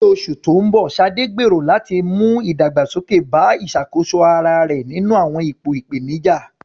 Ní oṣù tó ń bọ̀, Sade gbèrò láti mú ìdàgbàsókè bá ìṣàkóso ara rẹ̀ nínú àwọn ipò ìpèníjà.